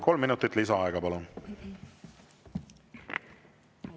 Kolm minutit lisaaega, palun!